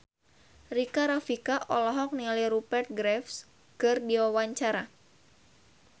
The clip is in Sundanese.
Rika Rafika olohok ningali Rupert Graves keur diwawancara